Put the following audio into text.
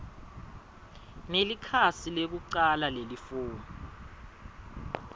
nelikhasi lekucala lelifomu